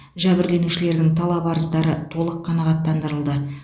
жәбірленушілердің талап арыздары толық қанағаттандырылды